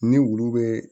Ni wulu bɛ